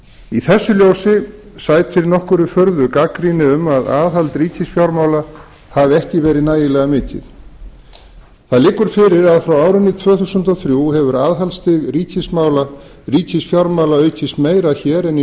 í þessu ljósi sætir nokkurri furðu gagnrýni um að aðhald ríkisfjármála hafi ekki verið nægilega mikið það liggur fyrir að frá árinu tvö þúsund og þrjú hefur aðhaldsstig ríkisfjármála aukist meira hér en í